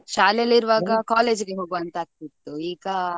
ಶಾಲೆ ಅಲ್ಲಿ ಇರುವಾಗ college ಗೆ ಹೋಗ್ವ ಅಂತ ಆಗ್ತಿತ್ತು ಈಗ.